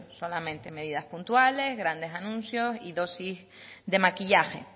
solamente medidas puntuales grandes anuncios y dosis de maquillaje